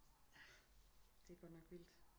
Det er godt nok vildt